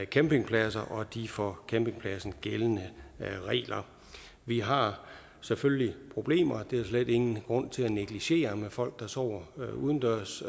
campingpladser og de for campingpladserne gældende regler vi har selvfølgelig problemer det er der slet ingen grund til at negligere med folk der sover udendørs